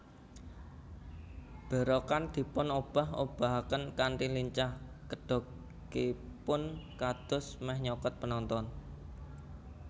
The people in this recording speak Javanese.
Berokan dipun obah obahaken kanthi lincah kedokipun kados meh nyokot penonton